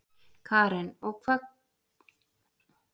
Karen: Og hvaða kostir koma þá helst upp í hugann hjá ykkur?